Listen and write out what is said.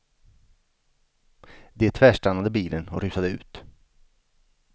De tvärstannade bilen och rusade ut.